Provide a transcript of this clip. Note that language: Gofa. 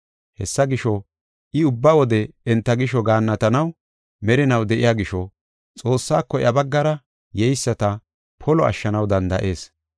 Hessa gisho, I ubba wode enta gisho gaannatanaw merinaw de7iya gisho Xoossaako iya baggara yeyisata polo ashshanaw danda7ees.